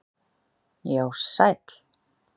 Já, sæll